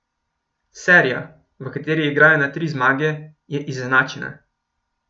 Serija, v kateri igrajo na tri zmage, je izenačena.